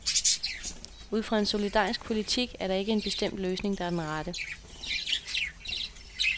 Ud fra en solidarisk politik er der ikke en bestemt løsning, der er den rette.